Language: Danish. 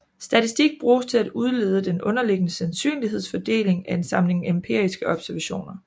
Statistik bruges til at udlede den underliggende sandsynlighedsfordeling af en samling empiriske observationer